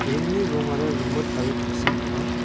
ringni rongara rimit aro tangsim ong·a.